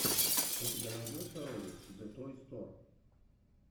у тебя найдется ролик зэтойстор